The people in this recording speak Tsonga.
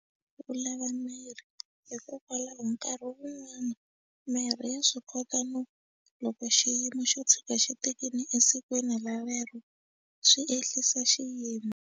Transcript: U lava mirhi hikokwalaho nkarhi wun'wana mirhi ya swi kota no loko xiyimo xo tshika xi tekile esikwini rolero swi ehlisa xiyimo.